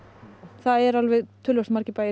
það eru töluvert margir bæir